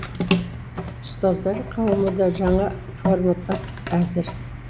ұстаздар қауымы да жаңа форматқа әзір